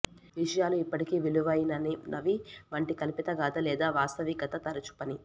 విషయాలు ఇప్పటికీ విలువైనవి వంటి కల్పితగాధ లేదా వాస్తవికత తరచూ పని